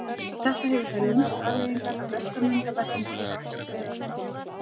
Þetta hefur þær lúmsku afleiðingar að vestanvindabeltin styrkjast.